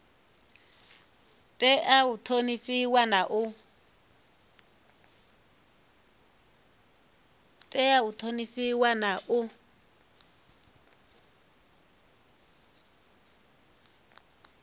tea u ṱhonifhiwa na u